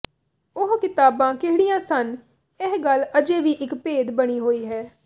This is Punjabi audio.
ਓਹ ਕਿਤਾਬਾਂ ਕਿਹੜੀਆਂ ਸਨ ਇਹ ਗੱਲ ਅਜੇ ਵੀ ਇੱਕ ਭੇਦ ਬਣੀ ਹੋਈ ਹੈ